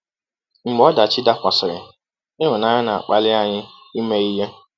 Mgbe ọdachi dakwasịrị, ịhụnanya na-akpali anyị ime ihe.